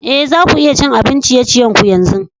Eh, za ku iya cin abin ciye-ciyen ku yanzu?